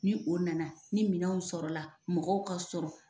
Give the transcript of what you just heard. Ni o nana ni minɛnw sɔrɔla la , mɔgɔw ka sɔrɔ.